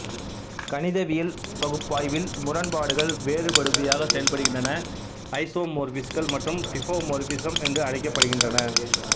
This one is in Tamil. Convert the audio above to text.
கணிதவியல் பகுப்பாய்வில்முரண்பாடுகள் வேறுபடுபவையாக செயல்படுகின்றன ஐசோமோர்பிஸ்கள் மேலும் டிஃபோமோர்பிஸ்ம் என்று அழைக்கப்படுகின்றன